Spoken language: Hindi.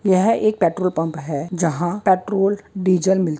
इहा एक पेट्रोल पम्प है जहा पेट्रोल डिजेल मिल--